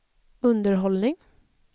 underhållning